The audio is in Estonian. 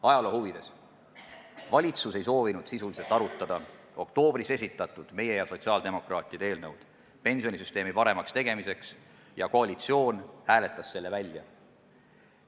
Ajaloo huvides mainin ära, et valitsus ei soovinud sisuliselt arutada meie ja sotsiaaldemokraatide oktoobris esitatud eelnõu pensionisüsteemi paremaks tegemiseks ning koalitsioon hääletas selle välja.